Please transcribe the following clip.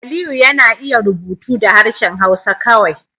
Aliyu yana iya rubutu da harshen Hausa kawai